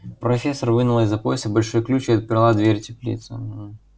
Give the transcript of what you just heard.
профессор вынула из-за пояса большой ключ и отперла дверь теплицы мм